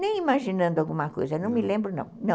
Nem imaginando alguma coisa, não me lembro não, não.